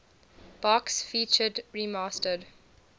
box featured remastered